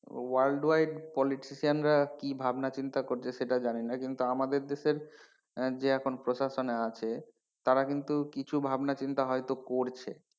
World wide politician রা কি ভাবনা চিন্তা করছে সেটা জানি না কিন্তু আমাদের দেশের আহ যে এখন প্রশাসনে আছে তারা কিন্তু কিছু ভাবনাচিন্তা হয়তো করছে,